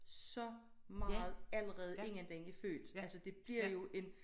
Så meget allerede inden den er født altså det bliver jo en